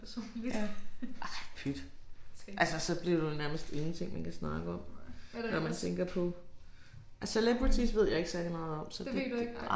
Ja ej pyt. Altså så bliver det vel nærmest ingenting man kan snakke om når man tænker på celebrities ved jeg ikke særlig meget om så det det